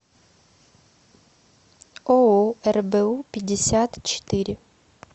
ооо рбу пятьдесят четыре